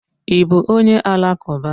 I bú onye alakuba?